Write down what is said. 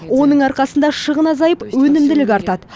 оның арқасында шығын азайып өнімділік артады